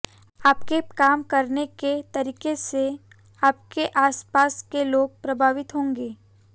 आपके काम करने के तरीके से आपके आस पास के लोग प्रभावित होंगे